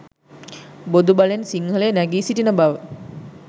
බොදු බලෙන් සිංහලය නැගී සිටින බව.